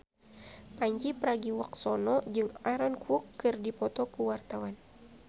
Pandji Pragiwaksono jeung Aaron Kwok keur dipoto ku wartawan